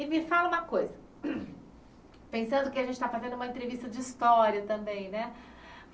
E me fala uma coisa, pensando que a gente está fazendo uma entrevista de história também, né?